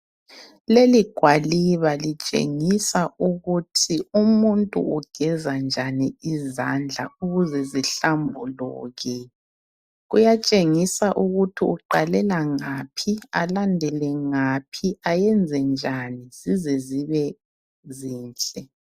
leli gwaliba litshengisa ukuthi umuntu ugeza njani izandla ukuze zihlambuluke kuyatshengisa ukuthi umuntu aqhalela ngaphi alandele ngaphi ayenze njani ukuze zibe zinhle